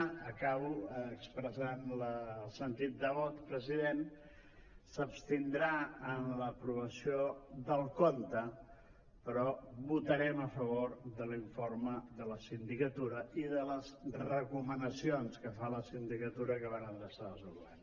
acabo expressant el sentit de vot president s’abstindrà en l’aprovació del compte però votarem a favor de l’informe de la sindicatura i de les recomanacions que fa la sindicatura que van adreçades al govern